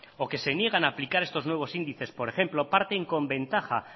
o que se niegan a aplicar estos nuevos índices por ejemplo parten con ventaja